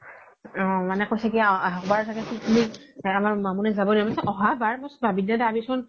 মানে কৈছে কি আহাবাৰ চাগে আমাৰ মামনি জাব দে মই কৈছো অহাবাৰ মই কৈছো বাবিদ দাদা